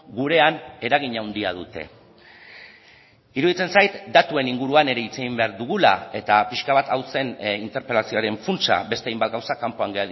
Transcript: gurean eragin handia dute iruditzen zait datuen inguruan ere hitz egin behar dugula eta pixka bat hau zen interpelazioaren funtsa beste hainbat gauza kanpoan